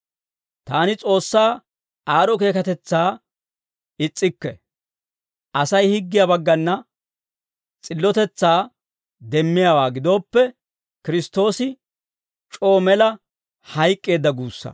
Taani S'oossaa aad'd'o keekatetsaa is's'ikke; Asay higgiyaa baggana s'illotetsaa demmiyaawaa gidooppe, Kiristtoosi c'oo mela hayk'k'eedda guussaa.